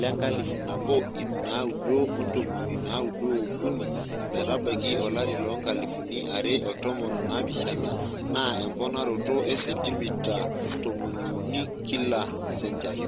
lenkalifu nabo iip naaudo ontomoni naaudo ookuni metabaiki olari loonkalifuni are otomon onaapishana naa emponaroto e sentimita tomoniuni kila senchari.